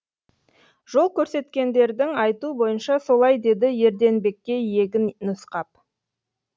жол көрсеткендердің айтуы бойынша солай деді ерденбекке иегін нұсқап